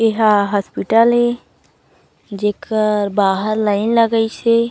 ये ह हॉस्पिटल ए जेकर बाहर लाइन लगाइस हे।